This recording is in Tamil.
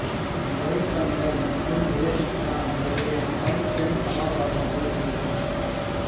ஜெய்சங்கர் மற்றும் ஜெயசித்ரா முறையே ஆண் மற்றும் பெண் கதாபாத்திரங்களில் நடித்தனர்